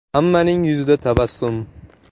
Hammaning yuzida tabassum.